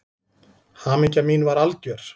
Hamingja mín var algjör.